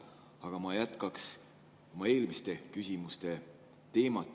Aga ma jätkaks oma eelmiste küsimuste teemat.